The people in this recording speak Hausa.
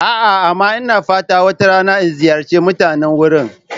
A'a, amma ina fatan wata rana in ziyarci mutanen wurin.